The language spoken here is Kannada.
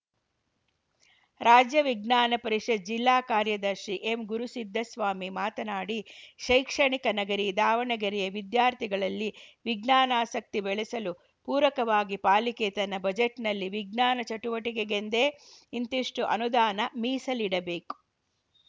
ರಾಜ್ಯ ವಿಜ್ಞಾನ ಪರಿಷತ್‌ ಜಿಲ್ಲಾ ಕಾರ್ಯದರ್ಶಿ ಎಂಗುರುಸಿದ್ದಸ್ವಾಮಿ ಮಾತನಾಡಿ ಶೈಕ್ಷಣಿಕ ನಗರಿ ದಾವಣಗೆರೆಯ ವಿದ್ಯಾರ್ಥಿಗಳಲ್ಲಿ ವಿಜ್ಞಾನಾಸಕ್ತಿ ಬೆಳೆಸಲು ಪೂರಕವಾಗಿ ಪಾಲಿಕೆ ತನ್ನ ಬಜೆಟ್‌ನಲ್ಲಿ ವಿಜ್ಞಾನ ಚಟುವಟಿಕೆಗೆಂದೇ ಇಂತಿಷ್ಟುಅನುದಾನ ಮೀಸಲಿಡಬೇಕು